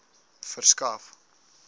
verskaf